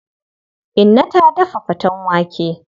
Inna ta daf faten wake.